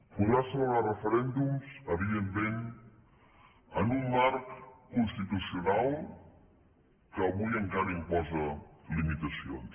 podrà celebrar referèndums evidentment en un marc constitucional que avui encara imposa limitacions